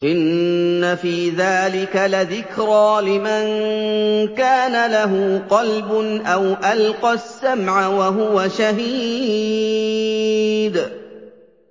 إِنَّ فِي ذَٰلِكَ لَذِكْرَىٰ لِمَن كَانَ لَهُ قَلْبٌ أَوْ أَلْقَى السَّمْعَ وَهُوَ شَهِيدٌ